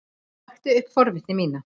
Vakti upp forvitni mína.